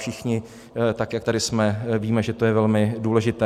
Všichni, tak jak tady jsme, víme, že je to velmi důležité.